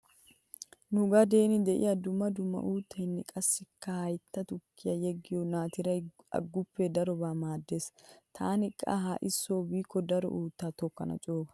Nu gadeen diya dumma dumma uuttaynne qassikka haytta tukkiyan yeggiyo naatiray aguppee darobawu maaddees. Taani qa ha"i so biikko daro uuttaa tokkana cooga.